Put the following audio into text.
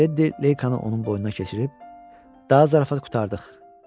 Tedi Leykanı onun boynuna keçirib daha zarafat qurtardıq, dedi.